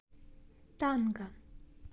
танга